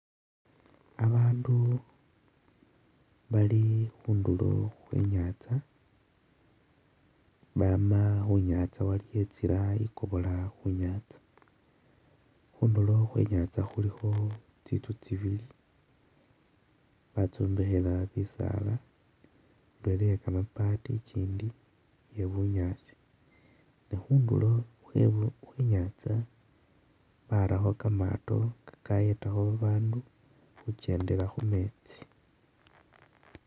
Abandu bali khundulo khwe inyantsa bama khunyantsa bali khutsila igobola khunyatsa, khundulo khwe inyatsa khulikho tsinzu tsibili batsombekhela bisaala indala iye gamabaati gindi iye ne khundulo kwe inyaza barakho gamaato gagayedakho babandu khujendela khumeetsi.